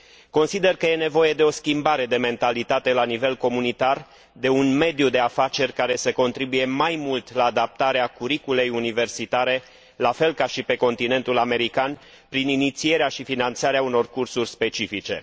Consider că este nevoie de o schimbare de mentalitate la nivel comunitar, de un mediu de afaceri care să contribuie la adaptarea curriculei universitare, la fel ca și pe continentul american, prin inițierea și finanțarea unor cursuri specifice.